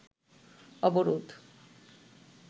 অবরোধ